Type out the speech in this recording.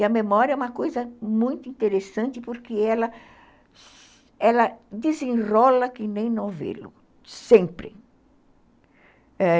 E a memória é uma coisa muito interessante porque ela ela desenrola que nem novelo, sempre.